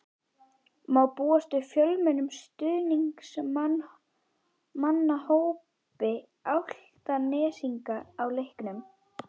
Má búast við fjölmennum stuðningsmannahópi Álftnesinga á leiknum?